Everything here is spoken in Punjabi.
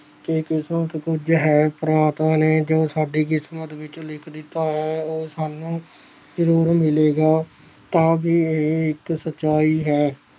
ਕਿ ਕਿਸਮਤ ਕੁੱਝ ਹੈ ਪ੍ਰਮਾਤਮਾ ਨੇ ਜੋ ਸਾਡੀ ਕਿਸਮਤ ਵਿੱਚ ਲਿਖ ਦਿੱਤਾ ਹੈ ਉਹ ਸਾਨੂੰ ਜ਼ਰੂਰ ਮਿਲੇਗਾ ਤਾਂ ਵੀ ਇਹ ਇੱਕ ਸਚਾਈ ਹੈ।